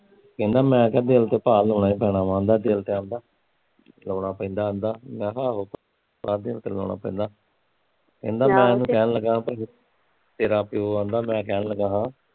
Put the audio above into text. ਕਹਿੰਦਾ ਮੈਂ ਕਿਹਾਂ ਭਾ ਦਿਲ ਤੇ ਭਾ ਲਾਉਣਾ ਈ ਪੈਣਾ ਵਾ ਕਹਿੰਦਾ ਲਾਉਣਾ ਪੈਂਦਾ ਕਹਿੰਦਾ ਮੈਂ ਕਿਹਾਂ ਆਹੋ, ਭਾ ਦਿਲ ਤੇ ਲਾਉਣਾ ਪੈਂਦਾ ਕਹਿੰਦਾ ਮੈਂ ਉਹਣੂ ਕਹਿਣ ਲਗਾ ਤੇਰਾ ਪਿਉ ਮੈਂ ਉਹਨੂੰ ਕਹਿਣ ਲਗਾ ਸਾ